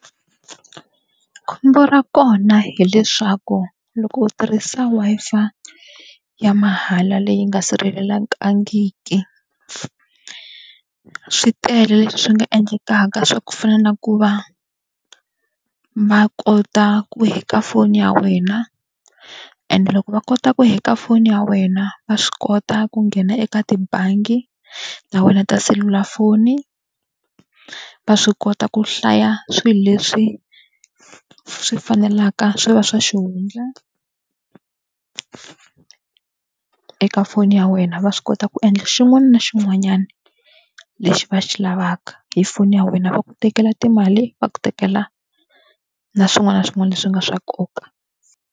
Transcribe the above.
Khombo ra kona hileswaku loko u tirhisa Wi-Fi ya mahala leyi nga sirhelelekangiki, swi tele leswi swi nga endlekaka swa ku fana na ku va va kota ku hack-a foni ya wena and loko va kota ku hack-a foni ya wena, va swi kota ku nghena eka tibangi ta wena ta selulafoni. Va swi kota ku hlaya swilo leswi swi fanelaka swi va swa xihundla eka foni ya wena. Va swi kota ku endla xin'wana na xin'wanyana lexi va xi lavaka hi foni ya wena, va ku tekela timali, va ku tekela na swin'wana na swin'wana leswi nga swa nkoka.